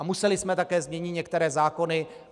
A museli jsme také změnit některé zákony.